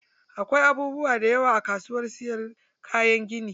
Akwai abubuwa dayawa a kasuwar siyar da kayan gini.